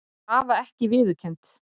Krafa ekki viðurkennd